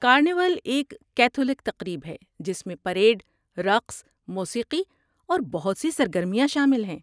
Carnival ایک Catholic تقریب ہے جس میں پریڈ، رقص، موسیقی اور بہت سی سرگرمیاں شامل ہیں۔